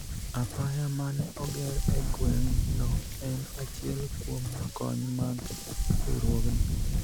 apaya mane oger e gweng' no en achiel kuom kony mag riwruogni